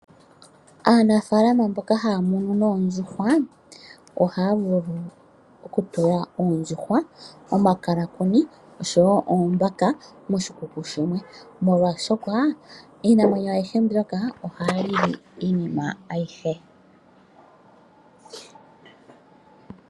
Aanafalalma mboka haya munu noondjuhwa oha yavulu oku tula oondjuhwa ,omakalakuni osho woo oombaka moshikuku shimwe, molwashoka iinamwenyo ayihe mbyoka ohayi li iinima ayihe.